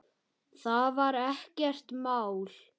Það var ekkert mál.